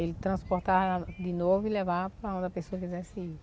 Ele transportava de novo e levava para onde a pessoa quisesse ir.